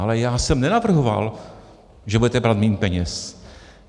Ale já jsem nenavrhoval, že budete brát méně peněz.